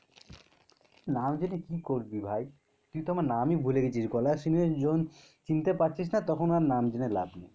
নাম জেনে কি করবি ভাই? তুই তো আমরা নামি ভুলে গেছিস গলা শুনে জন চিনতে পারছিস না তখন আর নাম শুনে লাভ নেই.